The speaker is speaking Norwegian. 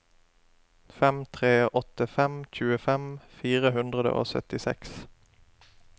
fem tre åtte fem tjuefem fire hundre og syttiseks